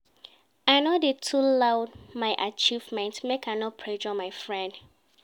I no dey too loud my own achievement, make I no pressure my friend.